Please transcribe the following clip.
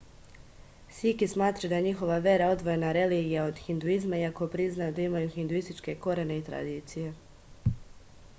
siki smatraju da je njihova vera odvojena religija od hinduizma iako priznaju da ima hinduističke korene i tradicije